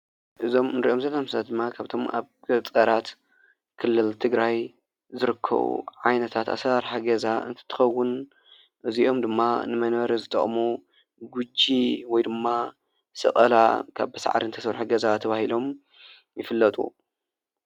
እዞም እንሪኦም ዘለና ምስሊ ድማ ካብቶም ኣብ ገጠራት ክልል ትግራይ ዝርከቡ ዓይነታት ኣሰራርሓ ገዛ እንትትኸዉን እዚኦም ድማ ንመንበሪ ዝጠቕሙ ጎጂ ወይ ድማ ሰቐላ ካብ ብሳዕሪ ዝተሰርሐ ገዛ ተባሂሎም ይፍለጡ።